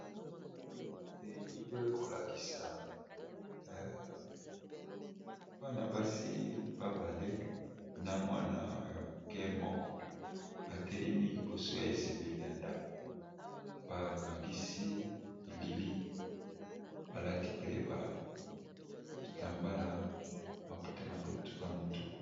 Elili oyo, ekolakisa bana-basi babale na mwana ya moke moko, ba telemi liboso ya ezibeli ya ndako. Ba kangisi bilili balati mpe ba bitambala maputa na mutu.